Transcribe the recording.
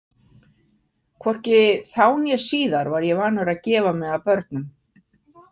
Hvorki þá né síðan var ég vanur að gefa mig að börnum.